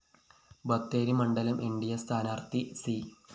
ബത്തേരി മണ്ഡലം ന്‌ ഡി അ സ്ഥാനാര്‍ത്ഥി സി